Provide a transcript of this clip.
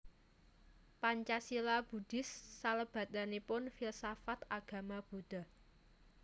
Pancasila Buddhis salabetipun Filsafat Agama Buddha